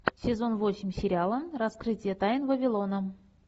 сезон восемь сериала раскрытие тайн вавилона